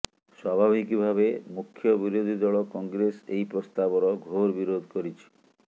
ସ୍ୱାଭାବିକ ଭାବେ ମୁଖ୍ୟବିରୋଧୀ ଦଳ କଂଗ୍ରେସ ଏହି ପ୍ରସ୍ତାବର ଘୋର ବିରୋଧ କରିଛି